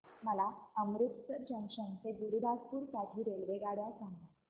मला अमृतसर जंक्शन ते गुरुदासपुर साठी रेल्वेगाड्या सांगा